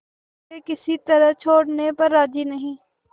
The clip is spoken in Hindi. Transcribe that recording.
वे किसी तरह छोड़ने पर राजी नहीं